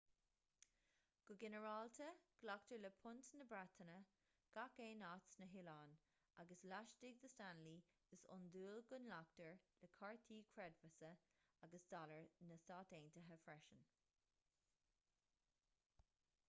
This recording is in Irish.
go ginearálta glactar le punt na breataine gach aon áit sna hoileáin agus laistigh de stanley is iondúil go nglactar le cártaí creidmheasa agus dollar na stát aontaithe freisin